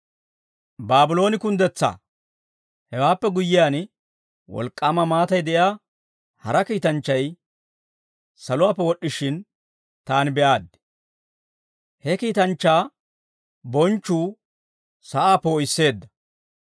Hewaappe guyyiyaan, wolk'k'aama maatay de'iyaa hara kiitanchchay saluwaappe wod'd'ishin, taani be'aaddi. He kiitanchchaa bonchchuu sa'aa poo'isseedda.